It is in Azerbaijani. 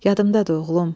Yadımdadır oğlum.